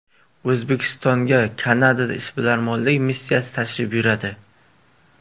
O‘zbekistonga Kanada ishbilarmonlik missiyasi tashrif buyuradi.